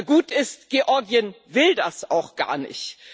Gut ist Georgien will das auch gar nicht.